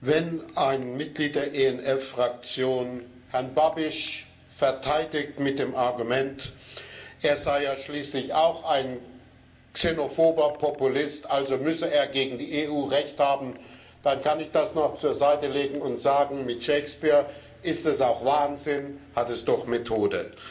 Wenn ein Mitglied der ENF Fraktion Herrn Babis verteidigt mit dem Argument, er sei ja schließlich auch ein xenophober Populist, also müsse er gegen die EU Recht haben, dann kann ich das noch zur Seite legen und mit Shakespeare sagen Ist es auch Wahnsinn, hat es doch Methode.